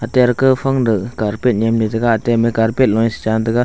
ate ar kaun phang duh carpet nyemley taga ate amey carpet loye sichan taga.